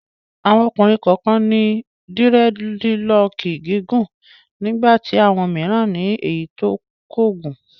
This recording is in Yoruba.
Àwọn ọkùnrin kọ̀ọ̀kan ní dírẹ́dilọọkì gígùn nígbà tí àwọn mìíràn ní èyí tí kò gùn.